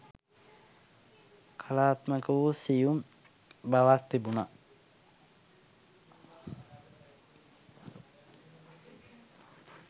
කලාත්මක වූ සියුම් බවක් තිබුණා